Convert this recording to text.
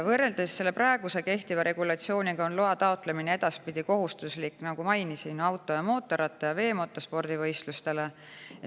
Võrreldes kehtiva regulatsiooniga on loa taotlemine edaspidi kohustuslik, nagu mainisin, auto- ja mootorratta- ja veemotospordivõistluste puhul.